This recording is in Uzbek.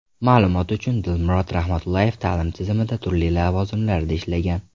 Ma’lumot uchun, Dilmurod Rahmatullayev ta’lim tizimida turli lavozimlarda ishlagan.